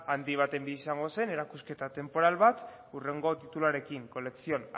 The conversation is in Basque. handi baten gisa izango zen erakusketa tenporal bat hurrengo tituluarekin colección